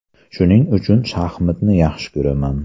Shuning uchun shaxmatni yaxshi ko‘raman.